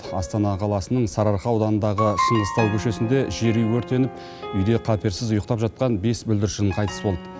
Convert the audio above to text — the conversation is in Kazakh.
астана қаласының сарыарқа ауданындағы шыңғыстау көшесінде жер үй өртеніп үйде қаперсіз ұйықтап жатқан бес бүлдіршін қайтыс болды